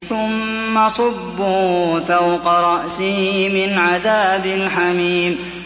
ثُمَّ صُبُّوا فَوْقَ رَأْسِهِ مِنْ عَذَابِ الْحَمِيمِ